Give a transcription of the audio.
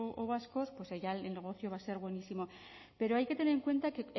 o vascos pues ya el negocio va a ser buenísimo pero hay que tener en cuenta que